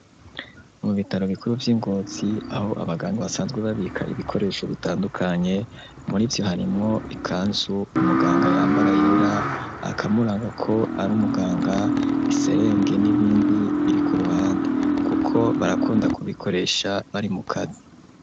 Mu bitaro bikuru vy'ingozi, aho abaganga basanzwe babika ibikoresho bitandukanye, murivyo harimwo ikanzu umuganga yambara yera, akamuranga ko ari umuganga, iserenge n'ibindi biri ku ruhande kuko barakunda kubikoresha bari mu kazi.